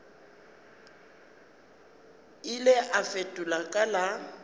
ile a fetola ka la